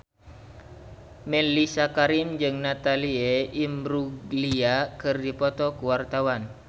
Mellisa Karim jeung Natalie Imbruglia keur dipoto ku wartawan